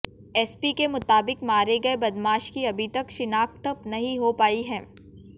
SP के मुताबिक मारे गये बदमाश की अभी तक शिनाख्त नहीं हो पायी है